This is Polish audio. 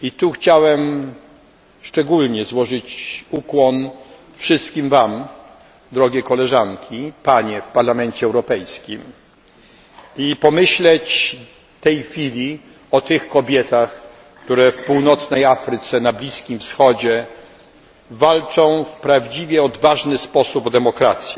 Chciałbym w tym miejscu złożyć ukłon wszystkim Wam, drogie koleżanki, panie w Parlamencie Europejskim, i pomyśleć w tej chwili o tych kobietach, które w Północnej Afryce, na Bliskim Wschodzie walczą w prawdziwie odważny sposób o demokrację.